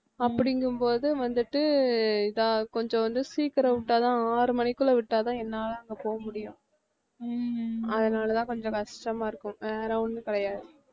அப்படிங்கும்போது வந்துட்டு இதா கொஞ்சம் வந்து சீக்கிரமா விட்டா தான் ஆறு மணிக்குள்ள விட்டா தான் என்னால அங்க போக முடியும் அதனாலதான் கொஞ்சம் கஷ்டமா இருக்கும் வேற ஒண்ணும் கிடையாது